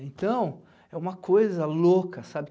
Então, é uma coisa louca, sabe?